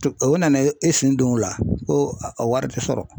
O nana e sen don o la ko a wari tɛ sɔrɔ.